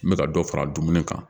N bɛ ka dɔ fara dumuni kan